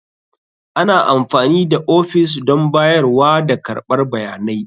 Ana amfani da ofis don bayarwa da karɓar bayanai.